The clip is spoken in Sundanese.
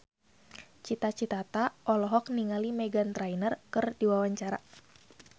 Cita Citata olohok ningali Meghan Trainor keur diwawancara